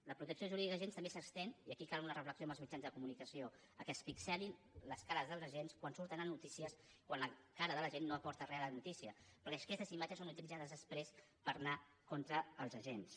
la protecció jurídica als agents també s’estén i aquí cal una reflexió amb els mitjans de comunicació al fet que es pixelin les cares dels agents quan surten a notícies quan la cara de l’agent no aporta re a la notícia perquè aquestes imatges són utilitzades després per anar contra els agents